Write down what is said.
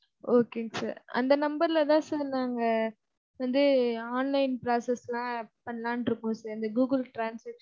Okay ங்க sir. அந்த number ல தான் sir நாங்க வந்து online process க்குலாம் பன்னலாம்ன்ட்டு இருக்கோம் sir இந்த கூகுள் translation.